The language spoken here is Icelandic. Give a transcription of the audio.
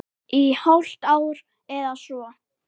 Í hálft ár eða svo.